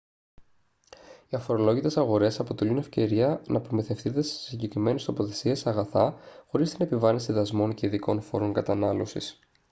οι αφορολόγητες αγορές αποτελούν ευκαιρία να προμηθευτείτε σε συγκεκριμένες τοποθεσίες αγαθά χωρίς την επιβάρυνση δασμών και ειδικών φόρων κατανάλωσης